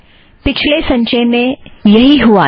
पिछले संचय में यही हुआ था